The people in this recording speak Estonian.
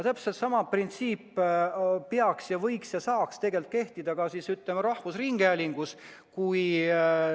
Täpselt sama printsiip peaks ja võiks ja saaks tegelikult kehtida ka rahvusringhäälingu puhul.